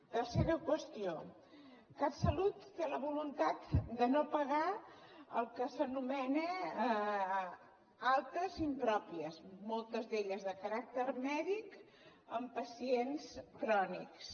tercera qüestió catsalut té la voluntat de no pagar el que s’anomena altes impròpies moltes d’elles de caràcter mèdic en pacients crònics